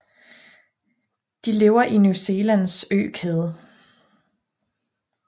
De lever i New Zealands økæde